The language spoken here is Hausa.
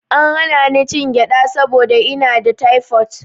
An hana ni cin mangyaɗa saboda ina da taifot.